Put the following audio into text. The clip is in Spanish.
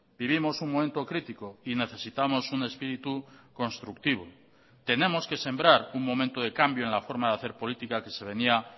vivimos un momento crítico y necesitamos un espíritu constructivo tenemos que sembrar un momento de cambio en la forma de hacer política que se venía